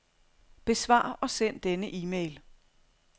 Besvar og send denne e-mail.